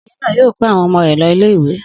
Obìnrin náà yóò kó àwọn ọmọ rẹ̀ lọ ilé-ìwé.